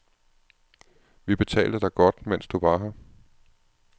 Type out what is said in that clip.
Vi betalte dig godt, mens du var her.